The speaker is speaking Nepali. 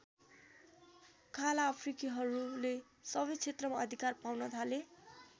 काला अफ्रिकीहरूले सबै क्षेत्रमा अधिकार पाउन थाले।